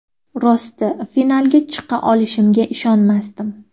Rosti, finalga chiqa olishimga ishonmasdim.